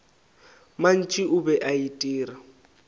mantši o be a itira